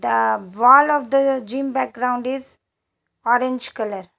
The wall of the gym background is orange colour.